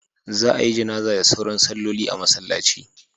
Za a yi Janazah da sauran salloli a masallaci.